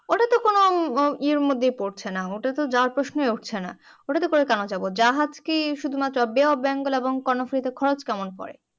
এইর মধ্যেই পড়ছেনা ওটা তো যাওয়ার প্রশ্নই উঠছেনা ওটাতে করে কেন যাবো জাহাজ কি শুধুমাত্র বে অফ বেঙ্গল এবং কর্ণফুলী তে খরচ কেমন পরে